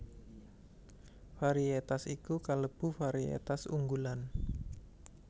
Variétas iku kalebu variétas unggulan